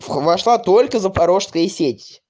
а вошла только запорожская сеть